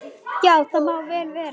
Já, það má vel vera.